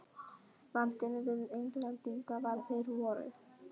Vandinn við Englendinga var að þeir voru